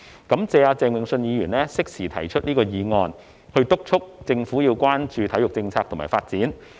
感謝鄭泳舜議員適時提出這項議案，敦促政府要關注體育政策和發展。